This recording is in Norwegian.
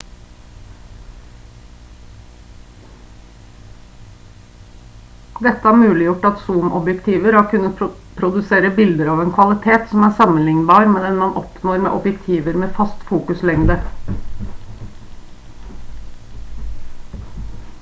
dette har muliggjort at zoomobjektiver har kunnet produsere bilder av en kvalitet som er sammenlignbar med den man oppnår med objektiver med fast fokuslengde